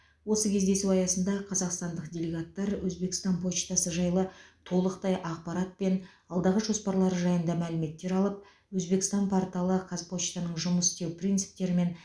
осы кездесу аясында қазақстандық делегаттар өзбекстан почтасы жайлы толықтай ақпарат пен алдағы жоспарлары жайында мәліметтер алып өзбекстан порталы казпочтаның жұмыс істеу принцпітерімен